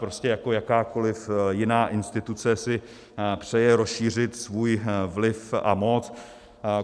Prostě jako jakákoliv jiná instituce si přeje rozšířit svůj vliv a moc.